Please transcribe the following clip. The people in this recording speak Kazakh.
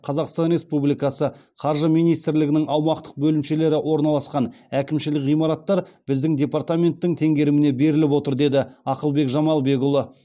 қазақстан республикасы қаржы министрлігінің аумақтық бөлімшелері орналасқан әкімшілік ғимараттар біздің департаменттің теңгеріміне беріліп отыр деді ақылбек жамалбекұлы